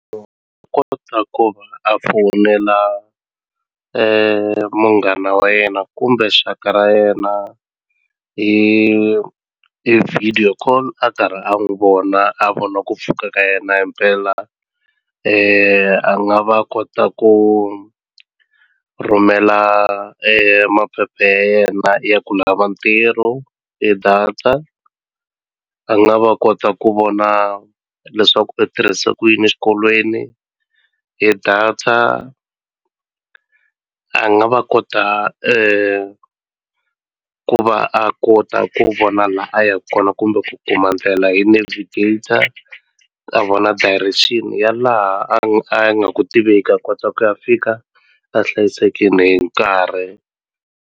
kota ku ta ku a fonela munghana wa yena kumbe xaka ra yena hi hi video call a karhi a n'wi vona a vona ku pfuka ka yena himpela a nga va kota ku rhumela maphephe ya yena ya ku lava ntirho hi data a nga va kota ku vona leswaku u tirhise ku yini xikolweni hi data a nga va kota ku va a kota ku vona la a yaka kona kumbe ku kuma ndlela hi navigator a vona direction ya laha a nga ku tiveki a kota ku ya fika a hlayisekini hi nkarhi.